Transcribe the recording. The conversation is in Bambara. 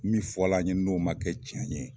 Min fɔla an ɲe n'o ma kɛ cɛn ye